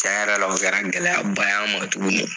Cen yɛrɛ la o kɛra gɛlɛya ba ye an ma tuguni.